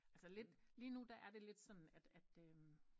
Altså lidt lige nu der er det lidt sådan at at